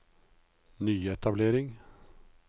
nyetablering